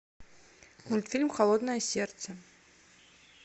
мультфильм холодное сердце